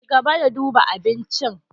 Cigaba da duba abincin.